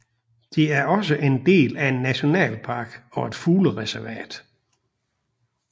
Det er også en del af en nationalpark og et fuglereservat